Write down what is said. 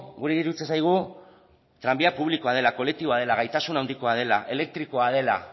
guri iruditzen zaigu tranbia publikoa dela kolektiboa dela gaitasun handikoa dela elektrikoa dela